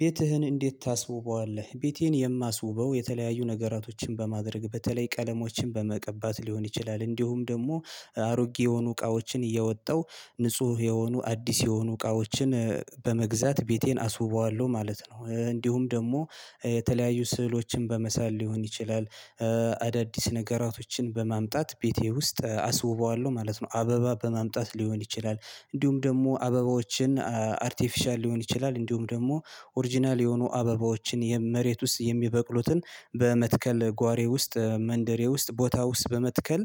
ቤትህን እንዴት ታስውበዋለህ? ቤቴን የማስውበው የተለያዩ ነገራቶችን በማድረግ በተለይ ቀለሞችን በመቀባት ሊሆን ይችላል እንዲሁም ደግሞ አሮጌ የሆኑ እቃዎችን እያወጣው ንጹህ የሆኑ አዲስ የሆኑ እቃዎችን በመግዛት ቤቴን አስውበዋለሁ ማለት ነው። እንዲሁም ደግሞ የተለያዩ ስዕሎችን በመሳል ሊሆን ይችላል አዳዲስ ነገራቶችን በማምጣት ቤቴ ውስጥ አስውበዋለሁ ማለት ነው። በማምጣት ሊሆን ይችላል እንዲሁም ደግሞ አበባዎችን አርቲፊሻል ሊሆን ይችላል እንዲሁም ደግሞ ኦሪጅናል የሆኑ አበባዎችን መሬት ውስጥ የሚበቅሉትን በመትከል ጓሮየ ውስጥ መንደሬ ውስጥ ቦታ ውስጥ በመትከል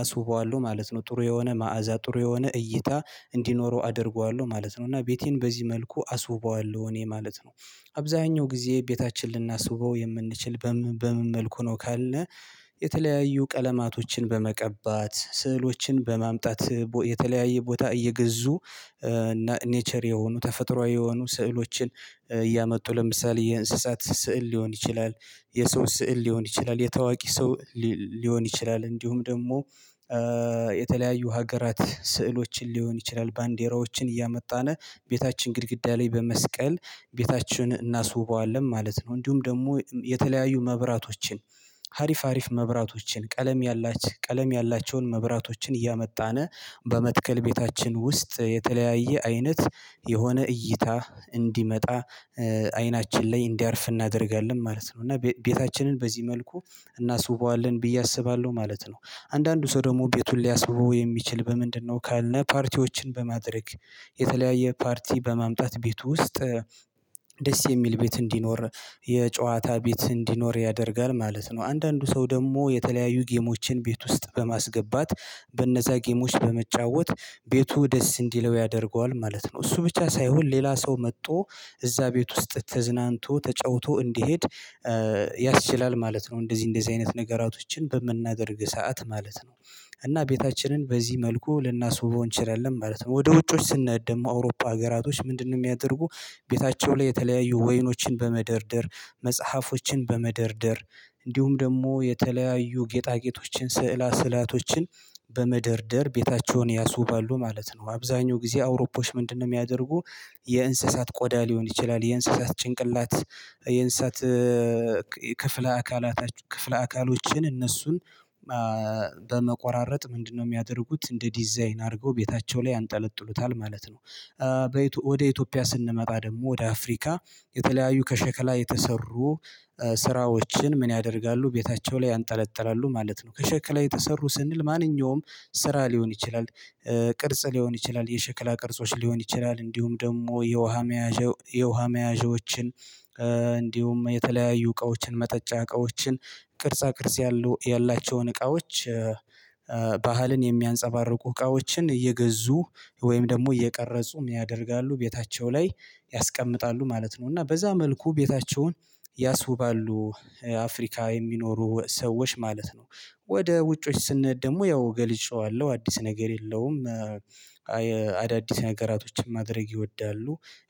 አስውበዋለሁ ማለት ነው። ጥሩ የሆነ መዓዛ ጥሩ የሆነ እይታ እንዲኖረው አደርገዋለሁ ማለት ነው። እና ቤቴን በዚህ መልኩ አስውበዋለሁ እኔ ማለት ነው። አብዛኛው ጊዜ ቤታችን ልናስውበው የምንችል በምን መልኩ ነው ካልነ? የተለያዩ ቀለማቶችን በመቀባት ስዕሎችን በማምጣት የተለያየ ቦታ እየገዙ እና ኔቸር የሆኑ ተፈጥሮአዊ የሆኑ ስዕሎችን እያመጡ ለምሳሌ የእንስሳት ስዕል ሊሆን ይችላል የሰው ስዕል ሊሆን ይችላል የታዋቂ ሰው ሊሆን ይችላል እንዲሁም ደግሞ የተለያዩ ሀገራት ስዕሎችን ሊሆን ይችላል ባንዴራዎችን እያመጣን ቤታችን ግድግዳ ላይ በመስቀል ቤታችን እናስውበዋለን። ማለት ነው እንዲሁም ደግሞ የተለያዩ መብራቶችን ሀሪፍ ሀሪፍ መብራቶችን ቀለም ያላቸውን መብራቶችን እያመጣነ በመትከል ቤታችን ውስጥ የተለያየ አይነት የሆነ እይታ እንዲመጣ አይናችን ላይ እንዲያርፍ እናደርጋለን ማለት ነው። እና ቤታችንን በዚህ መልኩ እናስውበዋለን ብዬ አስባለሁ ማለት ነው። አንዳንዱ ሰው ደግሞ ቤቱን ሊያስውበው የሚችል በምንድነው? ካለ ፓርቲዎችን በማድረግ የተለያየ ፓርቲ በማምጣት ቤት ውስጥ ደስ የሚል ቤት እንዲኖር የጨዋታ ቤት እንዲኖር ያደርጋል ማለት ነው። አንዳንዱ ሰው ደግሞ የተለያዩ ጌሞችን ቤት ውስጥ በማስገባት በነዛ ጌሞች በመጫወት ቤቱ ደስ እንዲለው ያደርገዋል ማለት ነው። እሱ ብቻ ሳይሆን ሌላ ሰው መጥቶ እዛ ቤት ውስጥ ተዝናንቶ ተጫውቶ እንዲሄድ ያስችላል ማለት ነው። እንደዚህ እንደዚህ አይነት ነገራቶችን በምናደርግ ሰዓት ማለት ነው እና ቤታችንን በዚህ መልኩ ልናስውበው እንችላለን ማለት ነው። ወደ ውጮች ስንሄድ ደግሞ አውሮፓ ሀገራቶች ምንድነው የሚያደርጉ? ቤታቸው ላይ የተለያዩ ወይኖችን በመደርደር መጽሐፎችን በመደርደር እንዲሁም ደግሞ የተለያዩ ጌጣጌጦችን ስዕለ ስዕላቶችን በመደርደር ቤታቸውን ያስውባሉ ማለት ነው። አብዛኛው ጊዜ አውሮፖች ምንድነው የሚያደርጉ? የእንስሳት ቆዳ ሊሆን ይችላል የእንስሳት ጭንቅላት የእንስሳት ክፍለ አካላት ክፍለ አካሎችን እነሱን በመቆራረጥ ምንድነው የሚያደርጉት እንደ ዲዛይን አድርገው ቤታቸው ላይ ያንጠለጥሉታል ማለት ነው። ወደ ኢትዮጵያ ስንመጣ ደግሞ ወደ አፍሪካ የተለያዩ ከሸክላ የተሰሩ ስራዎችን ምን ያደርጋሉ? ቤታቸው ላይ ያንጠለጥላሉ ማለት ነው። ከሸክላ የተሰሩ ስንል ማንኛውም ስራ ሊሆን ይችላል ቅርጽ ሊሆን ይችላል የሸክላ ቅርጾች ሊሆን ይችላል እንዲሁም ደግሞ የውሃ መያዣዎችን እንዲሁም የተለያዩ እቃዎችን መጠጫ እቃዎችን ቅርጻ ቅርጽ ያሉ ያላቸውን እቃዎች ባህልን የሚያንፀባርቁ እቃዎችን እየገዙ ወይም ደግሞ እየቀረፁም ያደርጋሉ ቤታቸው ላይ ያስቀምጣሉ ማለት ነው። እና በዛ መልኩ ቤታቸውን ያስውባሉ አፍሪካ የሚኖሩ ሰዎች ማለት ነው። ወደ ውጮች ስንሄድ ደግሞ ያው ገልጨዋለሁ አዲስ ነገር የለውም። አዳዲስ ነገራቶችን ማድረግ ይወዳሉ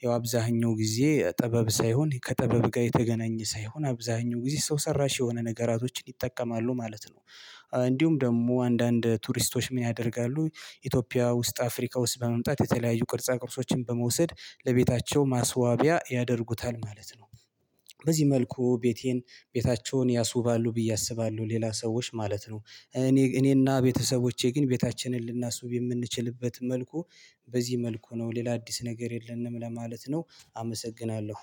ያው አብዛኛው ጊዜ ጥበብ ሳይሆን ከጥበብ ጋር የተገናኘ ሳይሆን አብዛኛው ጊዜ ሰው ሰራሽ የሆነ ነገራቶችን ይጠቀማሉ ማለት ነው። እንዲሁም ደግሞ አንዳንድ ቱሪስቶች ምን ያደርጋሉ? ኢትዮጵያ ውስጥ አፍሪካ ውስጥ በመምጣት የተለያዩ ቅርጻ ቅርጾችን በመውሰድ ለቤታቸው ማስዋቢያ ያደርጉታል ማለት ነው። በዚህ መልኩ ቤቴን ቤታቸውን ያሱባሉ ብዬ አስባለሁ ሌላ ሰዎች ማለት ነው። እኔና ቤተሰቦቼ ግን ቤታችንን ልናስቡ የምንችልበት መልኩ በዚህ መልኩ ነው ሌላ አዲስ ነገር የለንም ለማለት ነው። አመሰግናለሁ